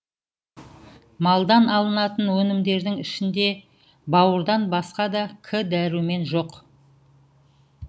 малдан алынатын өнімдердің ішінде бауырдан басқа да к дәрумен жоқ